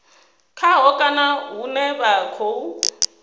khaho kana hune vha khou